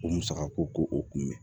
O musaka ko o kun bɛ